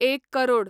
एक करोड